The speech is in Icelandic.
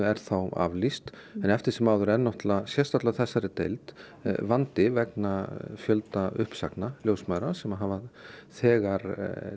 er þá aflýst en eftir sem áður er náttúrulega og sérstaklega á þessari deild vandi vegna fjölda uppsagna ljósmæðra sem hafa þegar